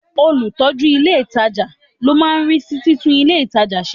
Olùtọ́jú ilé ìtajà ló máa ń rí sí títún ilé ìtajà ṣe.